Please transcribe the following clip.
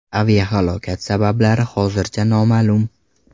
Aviahalokat sabablari hozircha noma’lum.